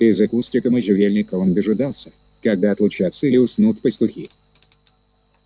из-за кустика можжевельника он дожидался когда отлучатся или уснут пастухи